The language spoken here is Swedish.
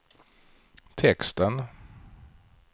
texten